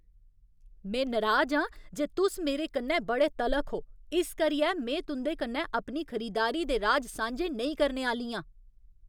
में नराज आं जे तुस मेरे कन्नै बड़े तलख ओ इस करियै में तुं'दे कन्नै अपनी खरीदारी दे राज सांझे नेईं करने आह्‌ली आं।